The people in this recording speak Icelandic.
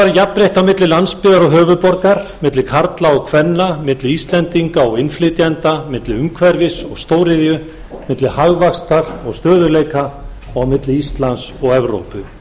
jafnrétti á milli landsbyggðar og höfuðborgar milli karla og kvenna milli íslendinga og innflytjenda milli umhverfis og stóriðju milli hagvaxtar og stöðugleika og á milli íslands og evrópu